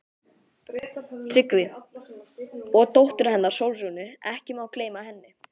TRYGGVI: Og dóttur hennar, Sólrúnu, ekki má gleyma henni.